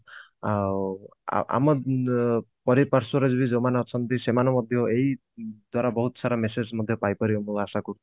ଆ ଆମ ପରିପାର୍ଶ୍ବରେ ବି ଯୋଉମାନେ ଅଛନ୍ତି ସେମାନେ ମଧ୍ୟ ଏଇ ଦ୍ଵାରା ବହୁତ ସାରା message ମଧ୍ୟ ପାଇପାରିବେ ମୁଁ ଆଶା କରୁଛି